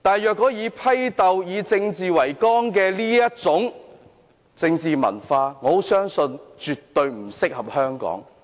我相信以政治為綱的政治文化，絕對不適合香港。